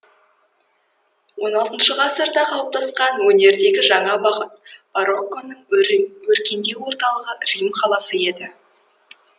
он алтыншы ғасырда қалыптасқан өнердегі жаңа бағыт барокконың өркендеу орталығы рим қаласы еді